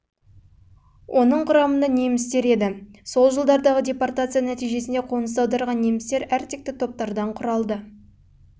оның құрамында немістер еді жылдардағы депортация нәтижесінде қоныс аударған немістер әртекті топтардан құралды олар ауылдық немістердің